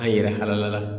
An yɛrɛ halala